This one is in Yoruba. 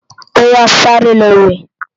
Óyá sàré lò wè